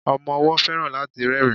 Ọmọ ọwó feran láti rerin